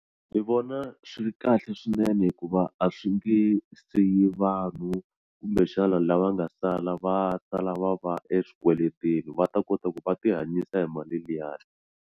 Ndzi vona swi ri kahle swinene hikuva a swi nge siyi vanhu kumbexana lava nga sala va sala va va eswikweleteni va ta kota ku va tihanyisa hi mali liyani.